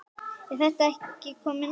Er þetta ekki komið nóg?